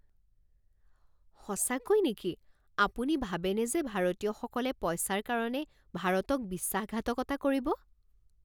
সঁচাকৈ নেকি? আপুনি ভাবেনে যে ভাৰতীয়সকলে পইচাৰ কাৰণে ভাৰতক বিশ্বাসঘাতকতা কৰিব?